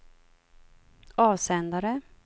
avsändare